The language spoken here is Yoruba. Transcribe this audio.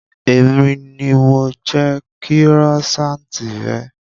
Èmi ni mo jẹ kírósaanti rẹ